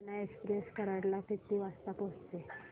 Koyna express Karad ला किती वाजता पोहचेल